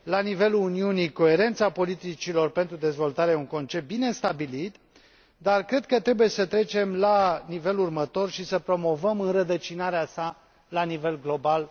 La nivelul Uniunii, coerența politicilor pentru dezvoltare e un concept bine stabilit, dar cred că trebuie să trecem la nivelul următor și să promovăm înrădăcinarea sa la nivel global.